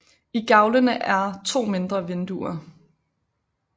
I gavlene er er to mindre vinduer